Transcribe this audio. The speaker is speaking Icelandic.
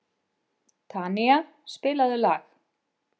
Tanía, spilaðu lag.